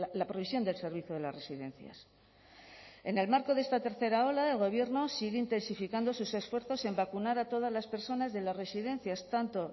la provisión del servicio de las residencias en el marco de esta tercera ola el gobierno sigue intensificando sus esfuerzos en vacunar a todas las personas de las residencias tanto